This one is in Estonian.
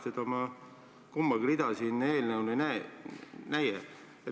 Neist kumbagi rida ma selle eelnõu puhul ei näe.